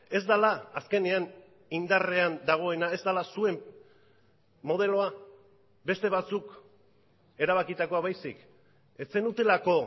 ez dela azkenean indarrean dagoena ez dela zuen modeloa beste batzuk erabakitakoa baizik ez zenutelako